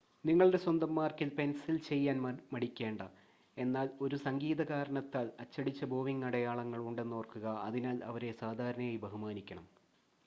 നിങ്ങളുടെ സ്വന്തം മാർക്കിൽ പെൻസിൽ ചെയ്യാൻ മടിക്കേണ്ട എന്നാൽ ഒരു സംഗീത കാരണത്താൽ അച്ചടിച്ച ബോവിംഗ് അടയാളങ്ങൾ ഉണ്ടെന്ന് ഓർക്കുക അതിനാൽ അവരെ സാധാരണയായി ബഹുമാനിക്കണം